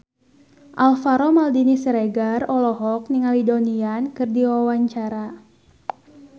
Alvaro Maldini Siregar olohok ningali Donnie Yan keur diwawancara